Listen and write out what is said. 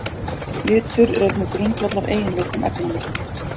Litur er einn af grundvallareiginleikum efnanna.